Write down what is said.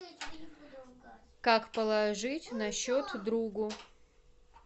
как положить на счет другу